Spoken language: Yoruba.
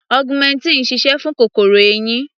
Augmentin sise fún kòkòrò eyín.